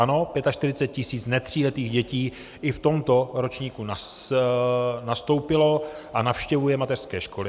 Ano, 45 tisíc netříletých dětí i v tomto ročníku nastoupilo a navštěvuje mateřské školy.